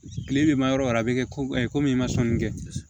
Kile bɛ ma yɔrɔ yɔrɔ a bɛ kɛ komi i ma sɔnni kɛ